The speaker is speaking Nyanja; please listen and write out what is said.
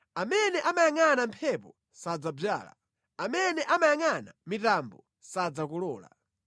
Amene amayangʼana mphepo sadzadzala; amene amayangʼana mitambo sadzakolola.